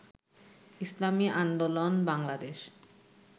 Islami Andolan Bangladesh